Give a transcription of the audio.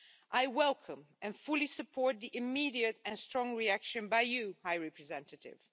I welcome and fully support the immediate and strong reaction by you, High Representative.